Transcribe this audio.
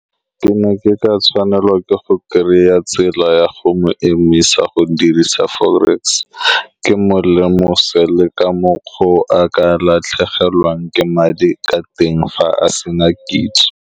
Ke ne ke ka tshwanelwa ke go kry-a tsela ya go mo emisa go dirisa forex. Ke mo lemose le ka mokgwa o a ka latlhegelwang ke madi ka teng fa a se na kitso.